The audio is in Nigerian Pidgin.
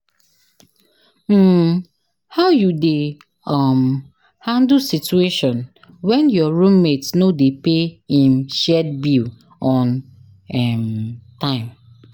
um How you dey um handle situation when your roommate no dey pay im shared bill on um time?